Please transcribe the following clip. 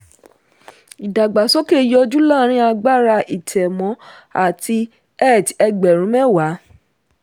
ìdàgbàsókè yọjú láàárin agbára ìtẹ̀mọ́ àti eth ẹgbẹ̀rún mẹ́wàá.